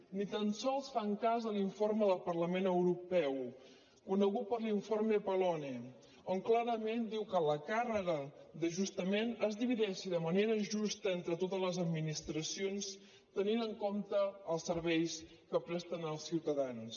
ni tan sols fan cas de l’informe del parlament europeu conegut com l’informe pallone on clarament diu que la càrrega d’ajustament es divideixi de manera justa entre totes les administracions tenint en compte els serveis que presten als ciutadans